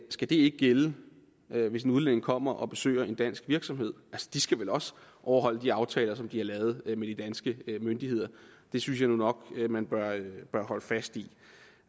skal det ikke gælde hvis udlændinge kommer og besøger en dansk virksomhed de skal vel også overholde de aftaler som de har lavet med de danske myndigheder det synes jeg nu nok man bør holde fast i